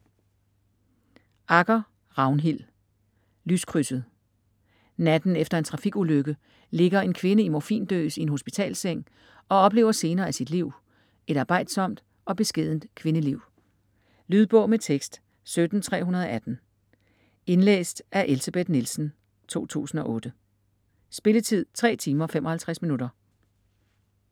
Agger, Ragnhild: Lyskrydset Natten efter en trafikulykke ligger en kvinde i morfindøs i en hospitalsseng og oplever scener af sit liv, et arbejdsomt og beskedent kvindeliv. Lydbog med tekst 17318 Indlæst af Elsebeth Nielsen, 2008. Spilletid: 3 timer, 55 minutter.